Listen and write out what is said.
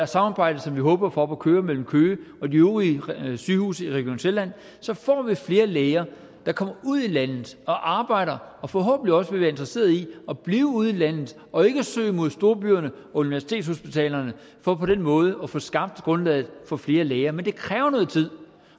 samarbejde som vi håber at få op at køre mellem køge og de øvrige sygehuse i region sjælland får vi flere læger der kommer ud i landet og arbejder og forhåbentlig også vil være interesseret i at blive ude i landet og ikke søge mod storbyerne og universitetshospitalerne for på den måde at få skabt grundlaget for flere læger men det kræver noget tid